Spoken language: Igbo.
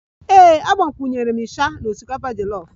Ee, agbakwunyere m isha na osikapa jolof